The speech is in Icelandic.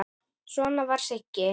Svona var Siggi.